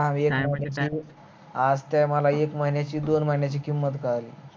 आज त्या मला एक महिन्याची दोन महिन्याची किंमत कळाली